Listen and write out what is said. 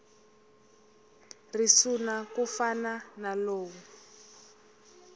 risuna ku fana na lowu